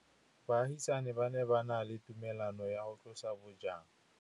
Baagisani ba ne ba na le tumalanô ya go tlosa bojang.